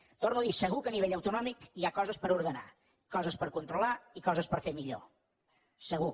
ho torno a dir segur que a nivell autonòmic hi ha coses per ordenar coses per controlar i coses per fer millor segur